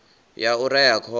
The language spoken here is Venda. ya u rea khovhe ya